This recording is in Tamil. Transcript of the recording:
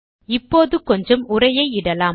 இப்பொழுது கொஞ்சம் உரையை இடலாம்